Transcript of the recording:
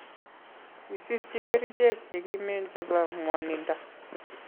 Kisirchi kerechek chekimen chepo mwanindo